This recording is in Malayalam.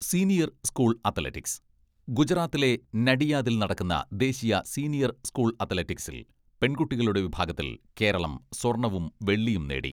സീനിയർ സ്കൂൾ അത്ലറ്റിക്സ് ഗുജറാത്തിലെ നഡിയാദിൽ നടക്കുന്ന ദേശീയ സീനിയർ സ്കൂൾ അത്ലറ്റിക്സിൽ പെൺകുട്ടികളുടെ വിഭാഗത്തിൽ കേരളം സ്വർണ്ണവും വെള്ളിയും നേടി.